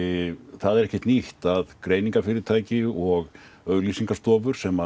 það er ekkert nýtt að greiningarfyrirtæki og auglýsingastofur sem